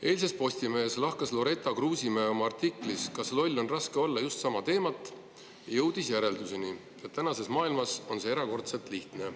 Eilses Postimehes lahkas Loretta Kruusimäe oma artiklis "Loll on lihtne olla" just sama teemat ja jõudis järelduseni, et tänases maailmas on see erakordselt lihtne.